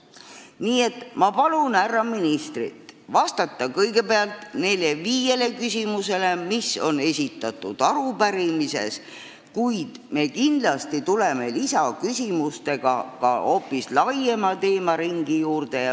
Nii et ma palun härra ministril vastata kõigepealt nendele viiele küsimusele, mis on esitatud arupärimises, kuid me kindlasti käsitleme lisaküsimustega hoopis laiemat teemaringi.